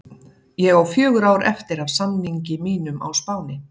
Ég á fjögur ár eftir af samningi mínum á Spáni.